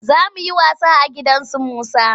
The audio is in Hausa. Za mu yi wasa a gidan su Musa.